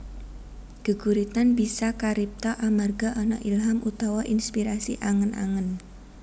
Geguritan bisa karipta amarga ana ilham utawa inspirasi angen angen